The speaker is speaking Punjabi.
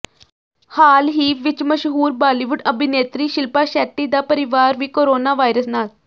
ਹਾਲ ਹੀ ਵਿੱਚ ਮਸ਼ਹੂਰ ਬਾਲੀਵੁੱਡ ਅਭਿਨੇਤਰੀ ਸ਼ਿਲਪਾ ਸ਼ੈੱਟੀ ਦਾ ਪਰਿਵਾਰ ਵੀ ਕੋਰੋਨਾ ਵਾਇਰਸ ਨਾਲ